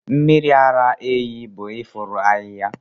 mmiri ara ehi bụ ifuru ahịhịa.